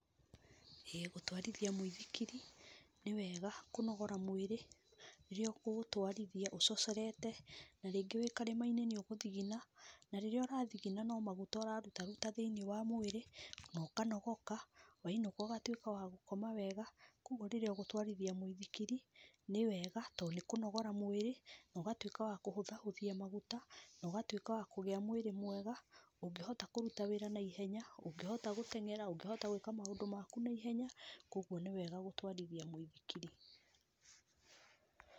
Ĩĩ gũtwarithia mwĩthikiri nĩ wega kũnogora mwĩrĩ, rĩrĩa ũkũũtwarithia ũcocorete, na rĩngĩ wĩ karĩmainĩ nĩ ũgũthigina, na rĩrĩa ũrathigina no maguta ũraruta ruta thĩinĩ wa mwĩrĩ, na ũkanogoka, wainũka ũgatwĩka wa gũkoma wega, kwoguo rĩrĩa ũgũtwarithia mwĩthikiri, nĩ wega to nĩ kũnogora mwĩri, na ũgatwĩka wa kũhũthahũthia maguta, na ũgatwĩka wa kũgĩa mwrĩ mwega, ũngĩhota kũruta wĩra na ĩhenya, ũngĩhota gũtengere, ũngĩhota gwĩka maũndũ maku naihenya, kwoguo nĩ wega gũtwarithia mwĩthikiri.